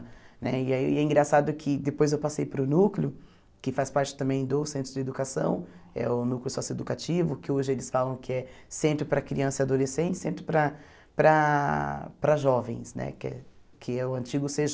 Né e aí é engraçado que depois eu passei para o núcleo, que faz parte também do Centro de Educação, é o núcleo socioeducativo, que hoje eles falam que é centro para crianças e adolescentes, centro para para para jovens né, que é que é o antigo cê